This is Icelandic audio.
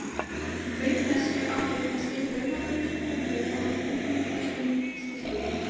Auk þess er algengt að steikja laufblöðin á pönnu ásamt ungum ferskum stilkum.